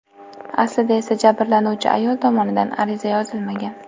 Aslida esa jabrlanuvchi ayol tomonidan ariza yozilmagan.